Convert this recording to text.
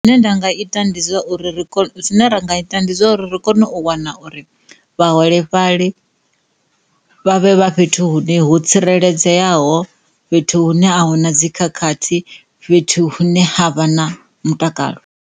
Zwine nda nga ita ndi zwa uri, zwine ri ra nga ita ndi zwa uri ri kone u wana uri vhaholefhali vhavhe vha fhethu hune ho tsireledzeaho fhethu hune a hu na dzi khakhathi fhethu hune ha vha na mutakalo.